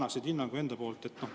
Või mis hinnangu sa annaksid?